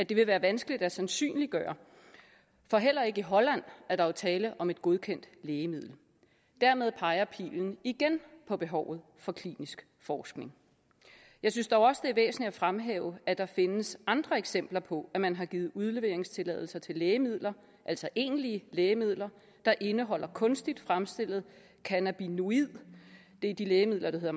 vil være vanskeligt at sandsynliggøre for heller ikke i holland er der jo tale om et godkendt lægemiddel dermed peger pilen igen på behovet for klinisk forskning jeg synes dog også det er væsentligt at fremhæve at der findes andre eksempler på at man har givet udleveringstilladelser til lægemidler altså egentlige lægemidler der indeholder kunstigt fremstillet cannabinoid det er de lægemidler der